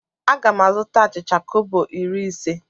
Aga m azụta achịcha kobo iri ise.